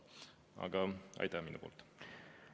Aga aitäh minu poolt!